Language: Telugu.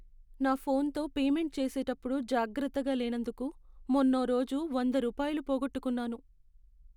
నా ఫోన్తో పేమెంట్ చేసేటప్పుడు జాగ్రత్తగా లేనందుకు మొన్నోరోజు వంద రూపాయలు పోగొట్టుకున్నాను.